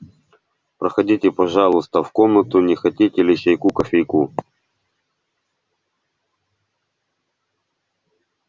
проходите пожалуйста в комнату не хотите ли чайку кофейку